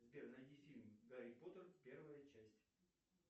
сбер найди фильм гарри поттер первая часть